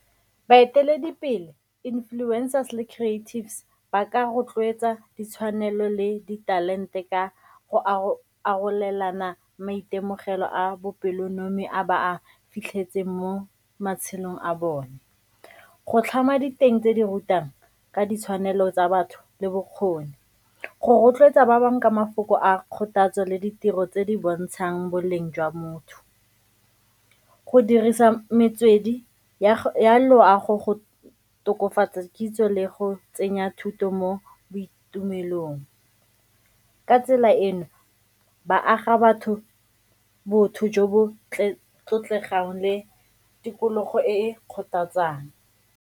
Baeteledipele, influencers le creatives ba ka rotloetsa ditshwanelo le ditalente ka go arolelana maitemogelo a bopelonomi a ba a fitlhetseng mo matshelong a bone. Go tlhama diteng tse di rutang ka ditshwanelo tsa batho le bokgoni, go rotloetsa ba bangwe ka mafoko a kgothatso le ditiro tse di bontshang boleng jwa motho, go dirisa metswedi ya loago go tokofatsa kitso le go tsenya thuto mo boitumelong. Ka tsela eno ba aga batho botho jo bo tlotlegang le tikologo e e kgothatsang